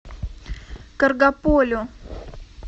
каргополю